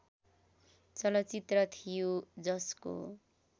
चलचित्र थियो जसको